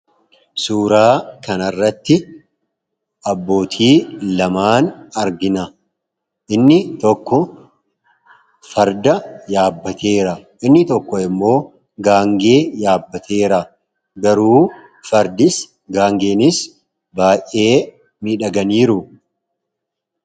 Suuraa kana irratti abbootii lama argina. Inni tokko farda yaabbateera; inni tokkommoo gaangee yaabbateera. Fardii fi gaangee sunis baay'ee miidhaganiiru.